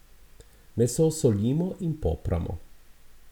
Meso solimo in popramo.